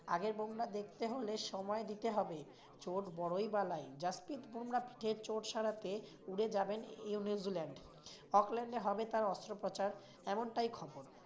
আগের বুমরাহ দেখতে হলে সময় দিতে হবে, চোট বড়োই বালাই। জাসপ্রিত বুমরাহ ফিরে চোট সারাতে উড়ে যাবেন নিউ জিল্যান্ড। অকল্যান্ডে হবে তার অস্ত্রোপচার এমনটাই খবর।